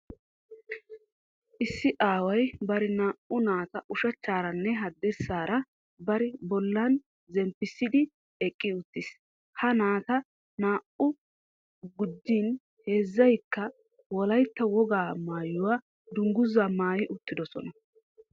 Issi aaway bari naa''u naata ushachcharanne haddirssaara bari bollan zemppissidi eqqi uttiis. Ha naata naa''aa gujjin heezzaykka Wolaytta Wogaa maayyuwa dungguzzaa maayi uttidosona